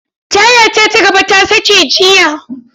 Tayata ta gaba ta sace jiya.